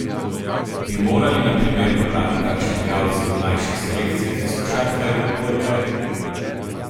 Bi morali, na primer, pobrati kakšne igralce v mlajših selekcijah iz košarke ali odbojke?